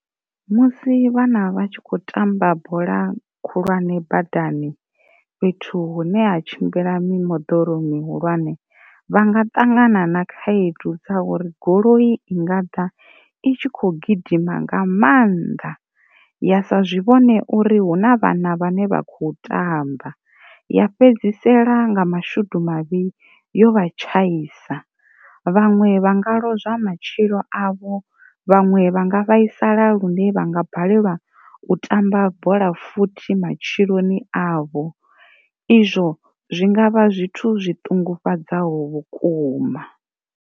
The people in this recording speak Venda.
Musi vhana vhatshi kho tamba bola khulwane badani fhethu hune ha tshimbila mi moḓoro mi hulwane vha nga ṱangana na khaedu dza uri goloi i nga ḓa i tshi kho gidima nga mannḓa ya sa zwi vhone uri hu na vhana vhane vha kho tamba ya fhedzisela nga mashudu mavhi yo vha tshaisa, vhanwe vhanga lozwa matshilo avho, vhanwe vhanga vhaisala lune vhanga balelwa u tamba bola futhi matshiloni avho, izwo zwi ngavha zwithu zwi ṱungufhadzaho vhukuma.